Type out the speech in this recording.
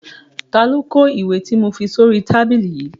Ta ló kó ìkọ̀wé tí mo fi sí oríi tábìlì yìí?